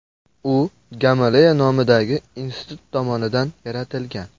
U Gamaleya nomidagi institut tomonidan yaratilgan.